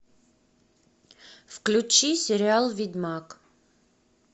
включи сериал ведьмак